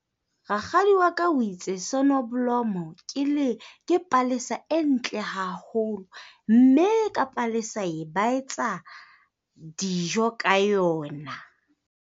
Rakgadi wa ka o itse ke le ke palesa e ntle haholo, mme ka palesa e ba etsa dijo ka yona.